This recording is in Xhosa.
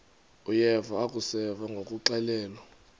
uyeva akuseva ngakuxelelwa